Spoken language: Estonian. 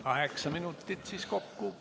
Kaheksa minutit siis kokku.